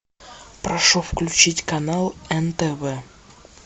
прошу включить канал нтв